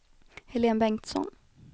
Helene Bengtsson